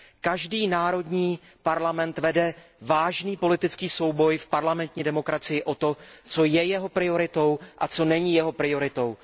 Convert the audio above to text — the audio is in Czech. Každý národní parlament vede vážný politický souboj v parlamentní demokracii o to, co je jeho prioritou a co není jeho prioritou.